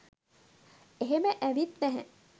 එහෙම ඇවිත් නැහැ.